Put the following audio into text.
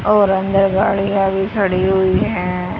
और अंदर गाड़ी अभी खड़ी हुई हैं।